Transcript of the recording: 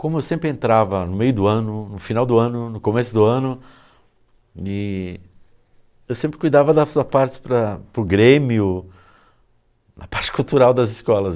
Como eu sempre entrava no meio do ano, no final do ano, no começo do ano, e eu sempre cuidava da sua parte para para o Grêmio, a parte cultural das escolas.